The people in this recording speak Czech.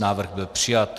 Návrh byl přijat.